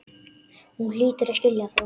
Þú hlýtur að skilja það.